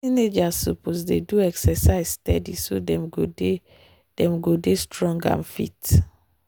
teenagers suppose dey do exercise steady so dem go dey dem go dey strong and fit.